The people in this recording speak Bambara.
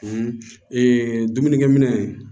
dumunikɛminɛ